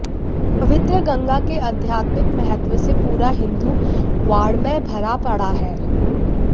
पवित्र गंगा के अध्यात्मिक महत्व से पूरा हिंदू वाङमय भरा पड़ा है